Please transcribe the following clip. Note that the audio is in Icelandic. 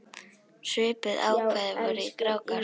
Svipuð ákvæði voru í Grágás.